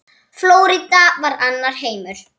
Flórída var annar heimur.